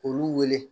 K'olu wele